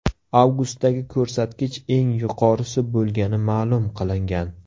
Avgustdagi ko‘rsatkich eng yuqorisi bo‘lgani ma’lum qilingan.